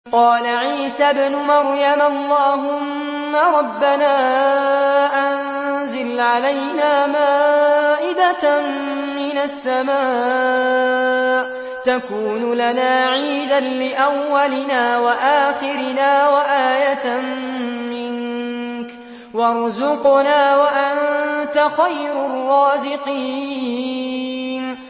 قَالَ عِيسَى ابْنُ مَرْيَمَ اللَّهُمَّ رَبَّنَا أَنزِلْ عَلَيْنَا مَائِدَةً مِّنَ السَّمَاءِ تَكُونُ لَنَا عِيدًا لِّأَوَّلِنَا وَآخِرِنَا وَآيَةً مِّنكَ ۖ وَارْزُقْنَا وَأَنتَ خَيْرُ الرَّازِقِينَ